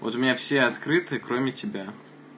вот у меня все открыты кроме тебя